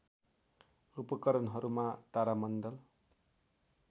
उपकरणहरूमा तारामण्डल